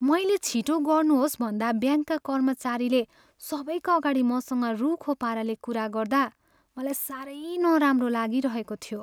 मैले छिटो गर्नुहोस् भन्दा ब्याङ्कका कर्मचारीले सबैका अगाडि मसँग रुखो पाराले कुरा गर्दा मलाई सारै नराम्रो लागिरहेको थियो।